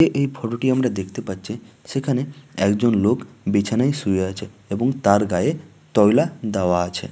এ এই ফটো টি আমরা দেখতে পাচ্ছি সেখানে একজন লোক বিছানাই শুয়ে আছে এবং তার গায়ে তৈলা দেওয়া আছে।